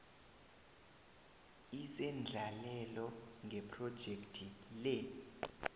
isendlalelo ngephrojekhthi le